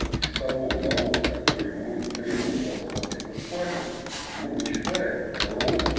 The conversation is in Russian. из того налога который мы требуем вас оплатить в испании мы вычитаем ровно